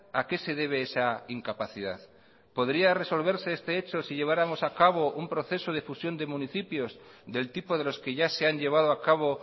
a qué se debe esa incapacidad podría resolverse este hecho si lleváramos a cabo un proceso de fusión de municipios del tipo de los que ya se han llevado a cabo